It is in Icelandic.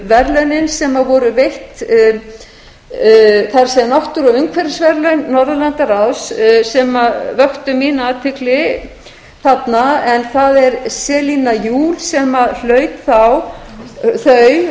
verðlaunin sem voru veitt það er náttúru og umhverfisverðlaun norðurlandaráð sem vöktu mína athygli þarna það er selina juul sem hlaut þau